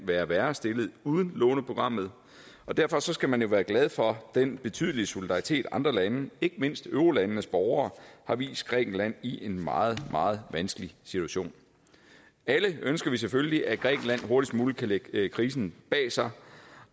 være værre stillet uden låneprogrammet og derfor skal man jo være glad for den betydelige solidaritet andre lande ikke mindst eurolandenes borgere har vist grækenland i en meget meget vanskelig situation alle ønsker vi selvfølgelig at grækenland hurtigst muligt kan lægge krisen bag sig